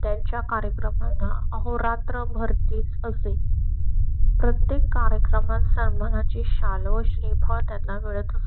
त्यांच्या कार्यक्रमाना आहो रात्र भरती असे. प्रत्येक कार्यक्रमात सामाना ची शाल व श्री फळ त्यांना मिळत.